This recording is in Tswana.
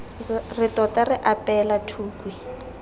re tota re apeela thukhwi